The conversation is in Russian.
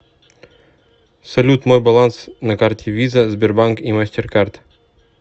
салют мой баланс на карте виза сбербанк и мастеркард